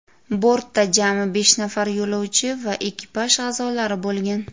Bortda jami besh nafar yo‘lovchi va ekipaj a’zolari bo‘lgan.